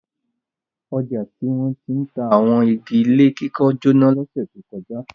Ọjà tí wọ́n ti ń ta àwọn igi ilé kíkọ́ jóná lọ́sẹ̀ tó kọjá.